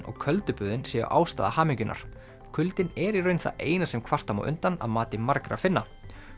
og köldu böðin séu ástæða hamingjunnar kuldinn er í raun það eina sem kvarta má undan að mati margra Finna